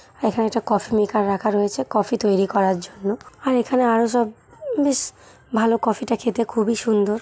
এখানে একটা coffee maker রাখা রয়েছে কফি তৈরী করার জন্য আর এখানে আরো সব বেশ ভালো কফি - টা খেতে খুবই সুন্দর ।